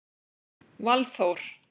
Valþór